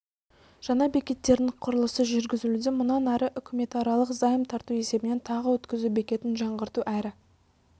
жаңа бекеттерінің құрылысы жүргізілуде мұнан ары үкіметаралық займ тарту есебінен тағы өтізу бекетін жаңғырту әрі